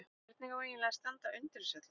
Hvernig á eiginlega að standa undir þessu öllu?